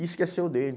e esqueceu dele.